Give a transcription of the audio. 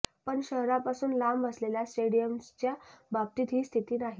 पण शहरापासून लांब असलेल्या स्टेडियम्सच्या बाबतीत ही स्थिती नाही